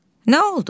Nə oldu?